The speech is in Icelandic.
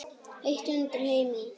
Heitt undir Heimi?